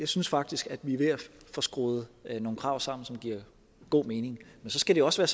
synes faktisk at vi er ved at få skruet nogle krav sammen som giver god mening men så skal det også